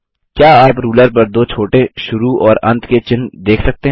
क्या आप रूलर पर दो छोटे शुरू और अंत के चिन्ह देख सकते हैं